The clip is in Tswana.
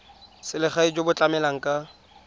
selegae jo bo tlamelang ka